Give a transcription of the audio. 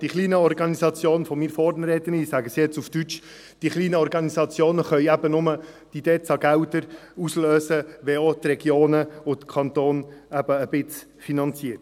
Die kleinen Organisationen – ich sage es jetzt auf Deutsch – können eben nur die DEZA-Gelder auslösen, wenn auch die Regionen und der Kanton etwas finanzieren.